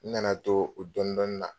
N nana to o dɔɔnin dɔɔnin na